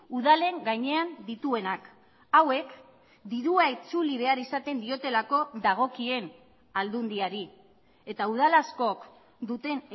udalen gainean dituenak hauek dirua itzuli behar izaten diotelako dagokien aldundiari eta udal askok duten